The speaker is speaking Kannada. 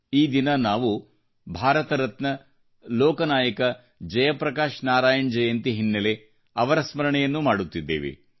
ಈ ದಿನ ನಾವು ಭಾರತರತ್ನ ಲೋಕನಾಯಕ ಜಯಪ್ರಕಾಶ ನಾರಾಯಣ್ ಜಯಂತಿ ಹಿನ್ನೆಲೆ ಅವರ ಸ್ಮರಣೆಯನ್ನೂ ಮಾಡುತ್ತಿದ್ದೇವೆ